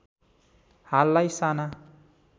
हाललाई साना